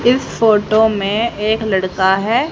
इस फोटो में एक लड़का हैं।